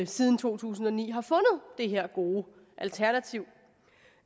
siden to tusind og ni har fundet det her gode alternativ